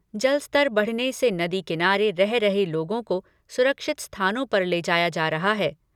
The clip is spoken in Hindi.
जलस्तर बढ़ने से नदी किनारे रह रहे लोगों को सुरक्षित स्थानों पर ले जाया जा रहा है।